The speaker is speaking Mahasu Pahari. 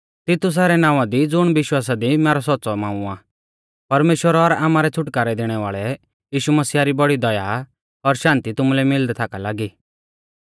तितुसा रै नावां दी ज़ुण विश्वासा दी मैरौ सौच़्च़ौ मांऊ आ परमेश्‍वर और आमारै छ़ुटकारै दैणै वाल़ै यीशु मसीह री बौड़ी दया और शान्ति तुमुलै मिलदै थाका लागी